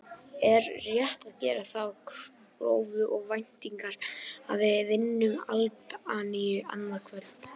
Er rétt að gera þá kröfu og væntingar að við vinnum Albaníu annað kvöld?